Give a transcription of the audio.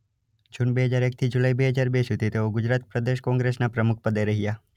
જુન બે હજાર એક થી જુલાઇ બે હજાર બે સુધી તેઓ ગુજરાત પ્રદેશ કોંગ્રેસનાં પ્રમુખ પદે રહ્યા.